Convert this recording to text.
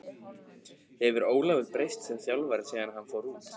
Hefur Ólafur breyst sem þjálfari síðan hann fór út?